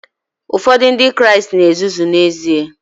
Ụfọdụ Ndị Kraịst na ezuzu n'ezie